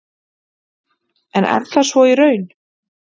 En er það svo í raun?